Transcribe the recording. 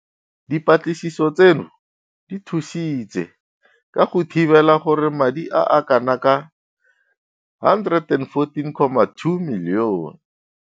Dipatlisiso tseno di thusitse ka go thibela gore madi a a kanaka 114.2 milione.